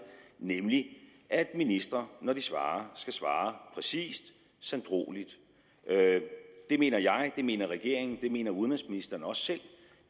nemlig at ministre når de svarer skal svare præcist sanddrueligt det mener jeg det mener regeringen det mener udenrigsministeren også selv